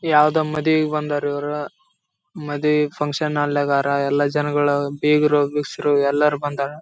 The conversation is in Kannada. ಯಾವ್ದೋ ಮದುವೆಗೆ ಬಂದವ್ರೆ ಇವ್ರು ಮದುವೆ ಫಂಕ್ಷನ್‌ ಹಾಲ್ಲೆಗಾರ ಎಲ್ಲ ಜನಗಳು ಬೀಗ್ರು ಬಿಕ್ಷುರು ಎಲ್ರೂ ಬಂದಾರ.